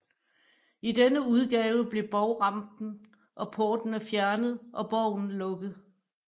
I denne udgave blev bovrampen og portene fjernet og boven lukket